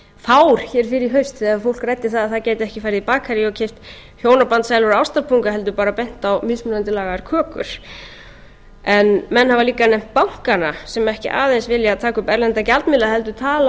fár hér fyrr í haust þegar fólk ræddi að það gæti ekki farið í bakarí og keypt hjónabandssælu og ástarpunga heldur bara bent á mismunandi lagaðar kökur menn hafa líka nefnt bankana sem ekki aðeins vilja taka upp erlenda gjaldmiðla heldur tala um þá